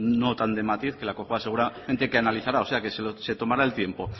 no tan de matiz que la cojua seguramente lo analizará o sea que se tomará el tiempo